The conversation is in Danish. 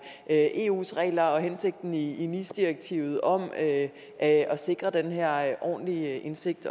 er eus regler og hensigten i nis direktivet om at at sikre den her ordentlige indsigt